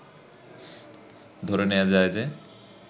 ধরে নেয়া যায় যে